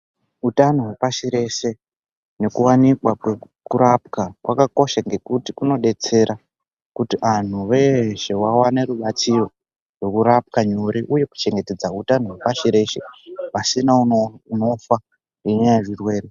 Utano hwepasi rese nekuwanikwa kwekurapwa kwakakosha ngekuti kunodetsera kuti anhu veshe vawane rubatsiro rwekurapwa nyore uye kuchengetedza hutano hwepashi rese pasina unofa ngenyaya yezvirwere.